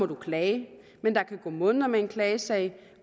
klage men der kan gå måneder med en klagesag